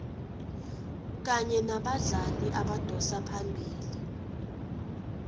kanye nabadlali abadosa phambili